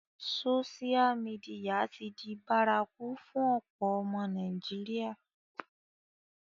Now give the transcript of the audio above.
Sósial mìdìya ti di bárakú fún ọ̀pọ̀ ọmọ Nàìjíríà